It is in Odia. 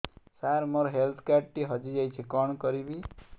ସାର ମୋର ହେଲ୍ଥ କାର୍ଡ ଟି ହଜି ଯାଇଛି କଣ କରିବି